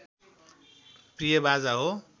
प्रिय बाजा हो